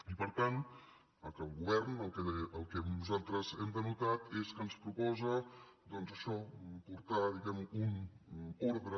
i per tant el govern el que nosaltres hem denotat és que ens proposa doncs això portar un ordre